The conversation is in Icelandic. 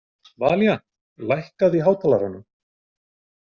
Valíant, lækkaðu í hátalaranum.